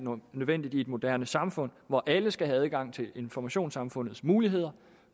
nødvendigt i et moderne samfund hvor alle skal have adgang til informationssamfundets muligheder